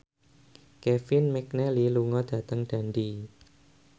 Kevin McNally lunga dhateng Dundee